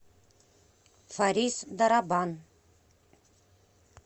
фарис дарабан